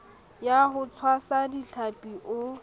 ya ho tshwasa dihlapi o